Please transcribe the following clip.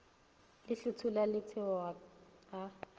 le hlothola la theoga a